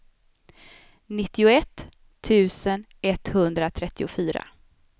nittioett tusen etthundratrettiofyra